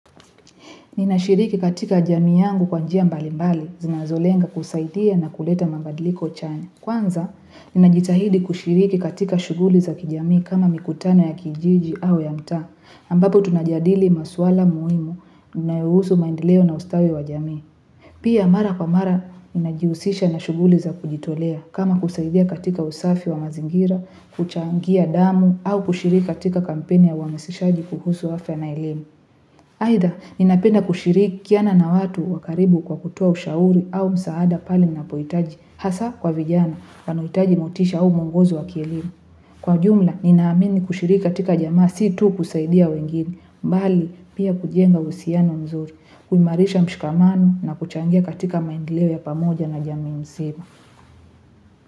Ninashiriki katika jamii yangu kwa njia mbalimbali zinazolenga kusaidia na kuleta mabadiliko chanya. Kwanza, ninajitahidi kushiriki katika shughuli za kijamii kama mikutano ya kijiji au ya mtaa, ambapo tunajadili maswala muhimu yanayohusu maendeleo na ustawi wa jamii. Pia mara kwa mara, ninajihusisha na shughuli za kujitolea kama kusaidia katika usafi wa mazingira, kuchangia damu au kushiriki katika kampeni ya uhamasishaji kuhusu afya na elimu. Aidha, ninapenda kushirikiana na watu wa karibu kwa kutoa ushauri au msaada pale unapohitaji, hasa kwa vijana wanaohitaji motisha au mwongozo wa kielimu. Kwa ujumla, ninaamini kushiriki katika jamii si tu kusaidia wengine, bali pia kujenga uhusiano mzuri, kuimarisha mshikamano na kuchangia katika maendeleo ya pamoja na jamii nzima.